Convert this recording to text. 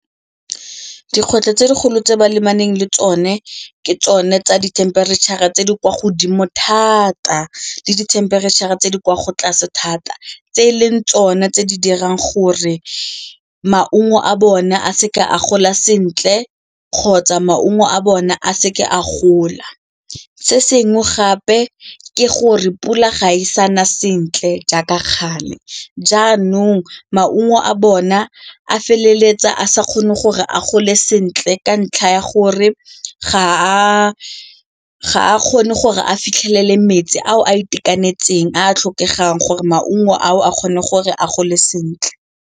Dikgwetlho tse dikgolo tse ba lebaneng le tsone ke tsone tsa dithemperetšhara tse di kwa godimo thata le dithempereitšha tse di kwa tlase thata tse e leng tsone tse di dirang gore maungo a bone a se ka a gola sentle kgotsa maungo a bona a seke a gola. Se sengwe gape ke gore pula ga e sa na sentle jaaka gale jaanong maungo a bona a feleletsa a sa kgone gore a gole sentle ka ntlha ya gore ga a kgone gore a fitlhelele metsi ao a itekanetseng a a tlhokegang gore maungo ao a kgone gore a gole sentle.